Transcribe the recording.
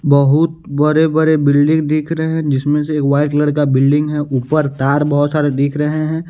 बहुत बड़े बड़े बिल्डिंग दिख रहे हैं जिसमें से एक वाइट कलर का बिल्डिंग है ऊपर तार बहुत सारे दिख रहे हैं।